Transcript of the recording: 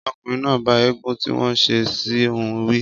Ọkùnrin náà bá ègún tí wọ́n ṣe sí òun wí.